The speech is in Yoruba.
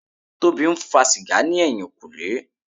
Tobi ń fa sìgá ní ẹ̀yìnkùlé.